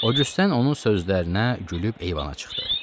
Odjusten onun sözlərinə gülüb eyvana çıxdı.